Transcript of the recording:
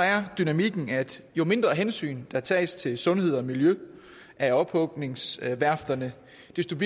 er dynamikken at jo mindre hensyn der tages til sundhed og miljø af ophugningsværfterne desto